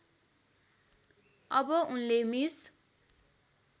अब उनले मिस